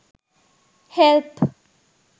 help